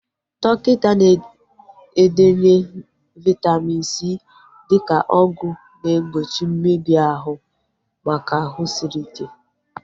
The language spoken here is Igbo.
Dọkịta na-edenye Vaitamin C dịka ọgwụ na egbochi mmebi ahụ maka ahụ sịrị ike